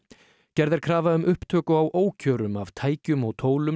gerð er krafa um upptöku á af tækjum og tólum